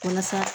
Walasa